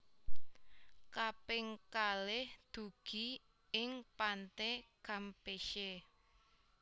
Kaping kalih dugi ing Pante Campeche